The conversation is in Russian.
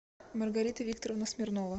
маргарита викторовна смирнова